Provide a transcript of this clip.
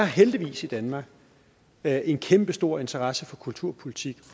heldigvis i danmark er en kæmpestor interesse for kulturpolitik